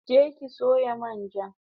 Je ki sayo man ja